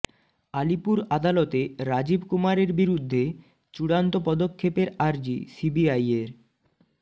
আলিপুর আদালতে রাজীব কুমারের বিরুদ্ধে চূড়ান্ত পদক্ষেপের আর্জি সিবিআইয়ের